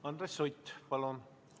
Andres Sutt, palun!